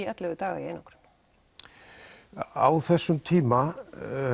ellefu daga í einangrun á þessum tíma